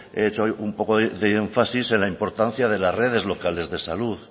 he hecho un poco de énfasis en la importancia de las redes locales de salud